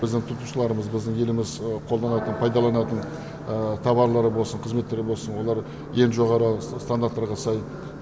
біздің тұтынушыларымыз біздің еліміз қолданатын пайдаланатын тауарлар болсын қызметтер болсын олар ең жоғарғы стандарттарға сай